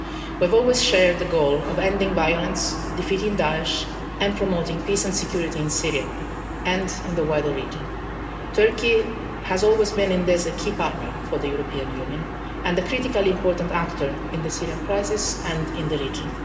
We have always shared the goal of ending violence, defeating Daesh and promoting peace and security in Syria and in the wider region. Turkey has always been in this a key partner for the European Union and a critically important actor in the Syrian crisis and in the region.